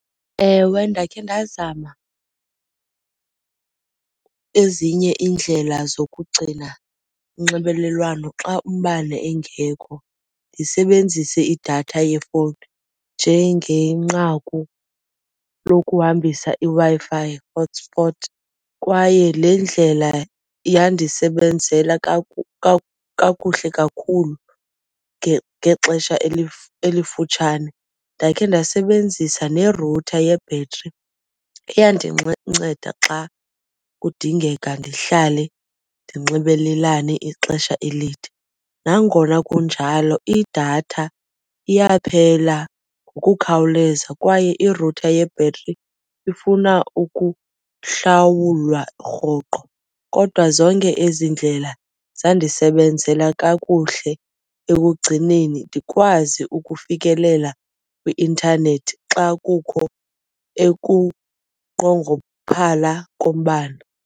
Ewe, ndakhe ndazama ezinye iindlela zokugcina unxibelelwano xa umbane engekho ndisebenzise idatha yefowuni njengenqaku lokuhambisa iWi-Fi hotspot kwaye le ndlela yandisebenzela kakuhle kakhulu ngexesha elifutshane. Ndakhe ndasebenzisa ne-router yebhetri iyandinceda xa kudingeka ndihlale ndinxibelelane ixesha elide. Nangona kunjalo, idatha iyaphela ngokukhawuleza kwaye i-router yebhetri ifuna ukuhlawulwa rhoqo. Kodwa zonke ezi ndlela zandisebenzela kakuhle ekugcineni ndikwazi ukufikelela kwi-intanethi xa kukho ekunqongophala kombane.